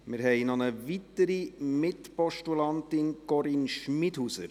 Wir haben noch eine weitere Mitpostulantin: Corinne Schmidhauser;